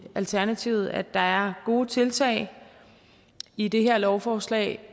alternativet at der er gode tiltag i det her lovforslag